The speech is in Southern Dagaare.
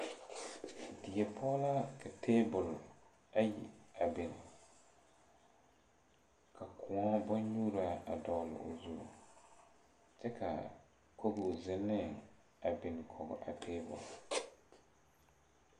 Die poɔ la ka tabole ayi a biŋ ka kõɔ bonnyuuraa a dɔgle o zu kyɛ kaa kogo zeŋnee a biŋ kɔge a tabole.